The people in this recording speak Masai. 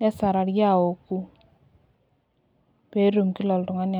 nesarari aouku peetum Kila oltungani.